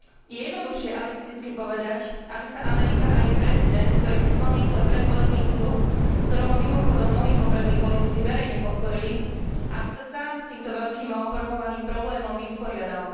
Je jednoduchšie alibisticky povedať aby sa Amerika a jej prezident, ktorý si plní svoj predvolebný sľub, v ktorom ho, mimochodom, mnohí poprední politici verejne podporili, aby sa sám s týmto veľkým a opovrhovaným problémom vysporiadal.